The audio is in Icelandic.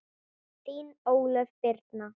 Þín Ólöf Birna.